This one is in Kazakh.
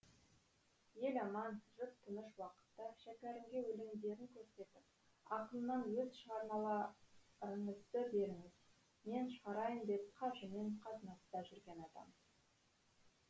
ел аман жұрт тыныш уақытта шәкәрімге өлеңдерін көрсетіп ақыннан өз шығармаларыңызды беріңіз мен шығарайын деп қажымен қатынаста жүрген адам